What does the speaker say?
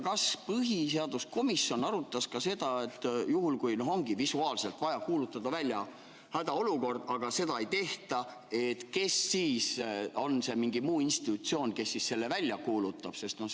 Kas põhiseaduskomisjon arutas ka seda, et juhul, kui ongi visuaalselt vaja kuulutada välja hädaolukord, aga seda ei tehta, kes siis on see mingi muu institutsioon, kes selle välja kuulutab?